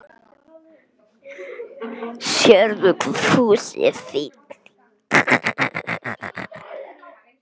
Sérðu hvað Fúsi er fínn?